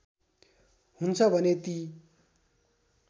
हुन्छ भने ती